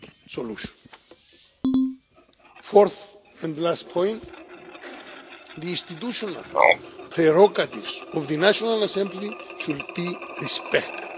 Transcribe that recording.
solution. Fourth and last point, the institutional prerogatives of the National Assembly should be respected.